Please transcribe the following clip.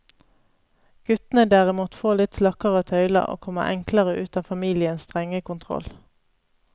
Guttene derimot får litt slakkere tøyler, og kommer enklere ut av familiens strenge kontroll.